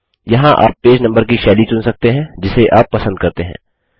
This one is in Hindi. यहाँ आप पेज नम्बर की शैली चुन सकते हैं जिसे आप पसंद करते हैं